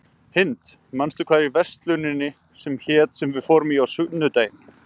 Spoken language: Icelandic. Hind, manstu hvað verslunin hét sem við fórum í á sunnudaginn?